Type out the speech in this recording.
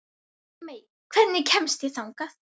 Dagmey, hvernig kemst ég þangað?